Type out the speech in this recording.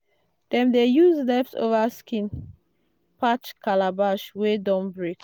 dem dey use leftover skin patch calabash wey don break.